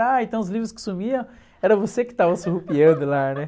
Ah, então os livros que sumiam era você que estava surrupiando lá, né?